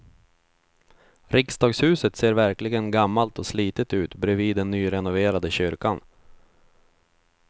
Riksdagshuset ser verkligen gammalt och slitet ut bredvid den nyrenoverade kyrkan.